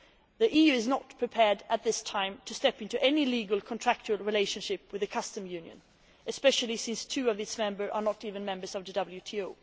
the EU is not prepared at this time to step into any legal contractual relationship with a customs union, particularly as two of its members are not even members of the